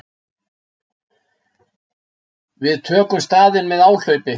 Við tökum staðinn með áhlaupi.